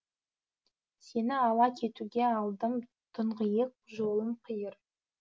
сені ала кетуге алдым тұңғиық жолым қиыр